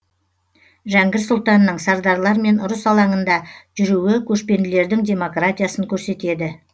жәңгір сұлтанның сардарлармен ұрыс алаңында жүруі көшпенділердің демократиясын көрсетеді